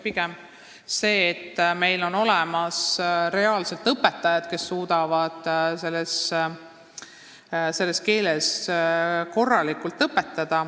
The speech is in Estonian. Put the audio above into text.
Vaja on, et meil oleks reaalselt olemas õpetajad, kes suudavad selles keeles korralikult õpetada.